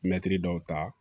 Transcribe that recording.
Mɛtiri dɔw ta